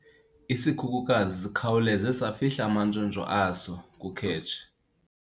Isikhukukazi sikhawuleze safihla amantshontsho aso kukhetshe.